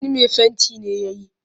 Sani mai fenti ne ya yi